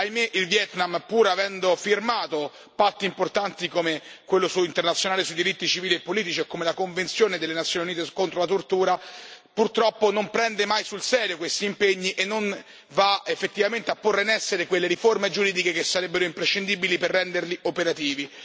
Ahimè il Vietnam, pur avendo firmato patti importanti come quello internazionale sui diritti civili e politici o come la Convenzione delle Nazioni Unite contro la tortura, purtroppo non prende mai sul serio questi impegni e non va effettivamente a porre in essere quelle riforme giuridiche che sarebbero imprescindibili per renderli operativi.